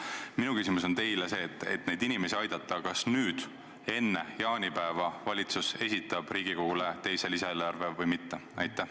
Minu küsimus on teile see: kas valitsus esitab, selleks et neid inimesi aidata, enne jaanipäeva Riigikogule teise lisaeelarve või mitte?